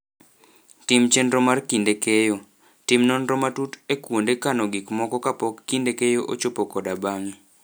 Tim Chenro mar Kinde Keyo: Tim nonro matut e kuonde kano gik moko kapok kinde keyo ochopo koda bang'e.